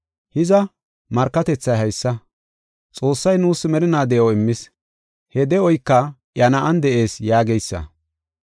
Hiza, markatethay haysa; Xoossay nuus merinaa de7o immis; he de7oyka iya Na7an de7ees yaageysa.